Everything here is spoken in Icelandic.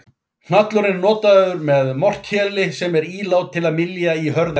Hnallurinn er notaður með mortéli sem er ílát til að mylja í hörð efni.